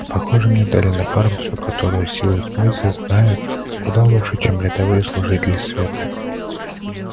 похоже мне дали напарницу которую силы тьмы все знают куда лучше чем рядовые служители света